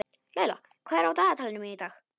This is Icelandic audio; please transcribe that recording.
Laila, hvað er á dagatalinu mínu í dag?